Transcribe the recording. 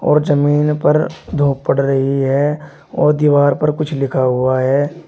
और जमीन पर धूप पड़ रही है और दीवार पर कुछ लिखा हुआ है।